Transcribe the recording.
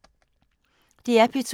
DR P2